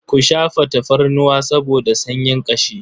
Ku shafa tafarnuwa saboda sanyin ƙashi.